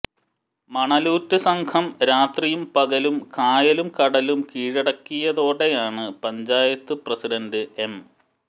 മണലൂറ്റ് സംഘം രാത്രിയും പകലും കായലും കടലും കീഴടക്കിയതോടെയാണ് പഞ്ചായത്ത് പ്രസിഡന്റ് എം